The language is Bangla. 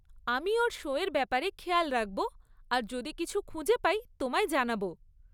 আমি ওর শো এর ব্যাপারে খেয়াল রাখব আর যদি কিছু খুঁজে পাই তোমায় জানাব।